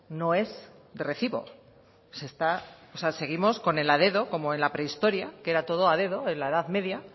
no es de recibo se está o sea seguimos con el a dedo como en la prehistoria que era todo a dedo en la edad media